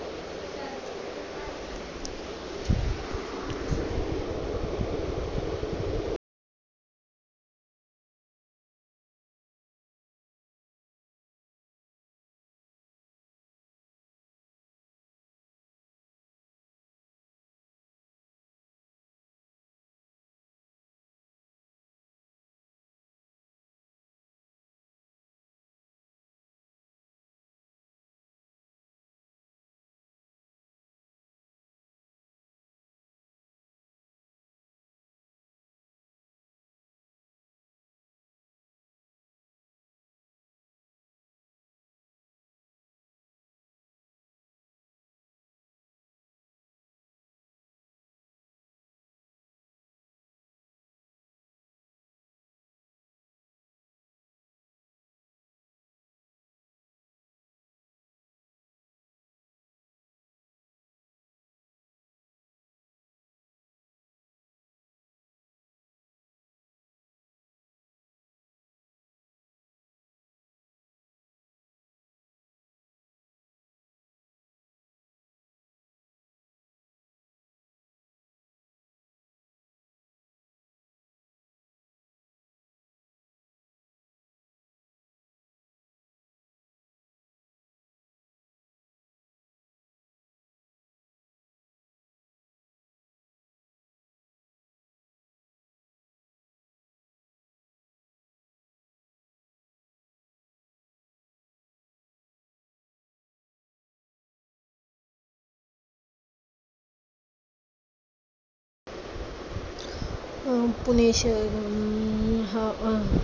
अं पुणे शहर अं आह